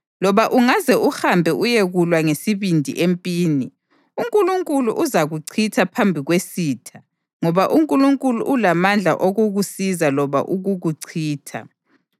Loba ungaze uhambe uyekulwa ngesibindi empini, uNkulunkulu uzakuchitha phambi kwesitha ngoba uNkulunkulu ulamandla okukusiza loba ukukuchitha.”